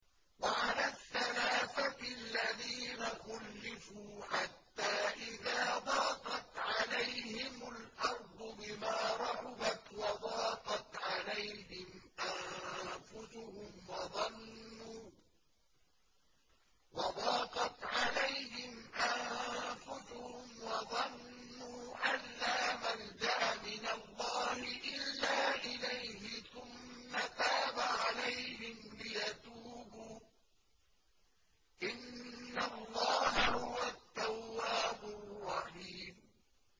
وَعَلَى الثَّلَاثَةِ الَّذِينَ خُلِّفُوا حَتَّىٰ إِذَا ضَاقَتْ عَلَيْهِمُ الْأَرْضُ بِمَا رَحُبَتْ وَضَاقَتْ عَلَيْهِمْ أَنفُسُهُمْ وَظَنُّوا أَن لَّا مَلْجَأَ مِنَ اللَّهِ إِلَّا إِلَيْهِ ثُمَّ تَابَ عَلَيْهِمْ لِيَتُوبُوا ۚ إِنَّ اللَّهَ هُوَ التَّوَّابُ الرَّحِيمُ